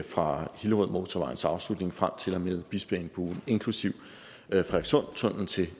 fra hillerødmotorvejens afslutning frem til og med bispeengbuen inklusive frederikssundtunnelen til